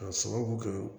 K'a sababu kɛ